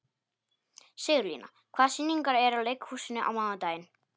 Sigurlína, hvaða sýningar eru í leikhúsinu á mánudaginn?